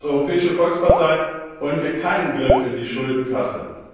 Als Europäische Volkspartei wollen wir keinen Griff in die Schuldenkasse.